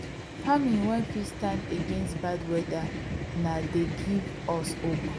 farming wen fit stand against bad weather na dey give us hope